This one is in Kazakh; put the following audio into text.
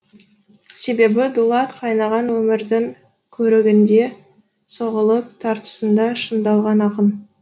себебі дулат қайнаған өмірдің көрігінде соғылып тартысында шыңдалған ақын